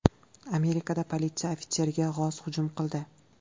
Amerikada politsiya ofitseriga g‘oz hujum qildi .